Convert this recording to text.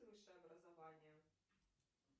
высшее образование